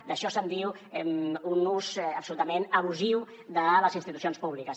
d’això se’n diu un ús absolutament abusiu de les institucions públiques